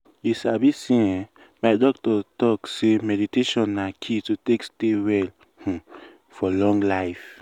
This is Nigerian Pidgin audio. you sabi say eeh my doctor talk sey meditation na key to take stay well um for long time.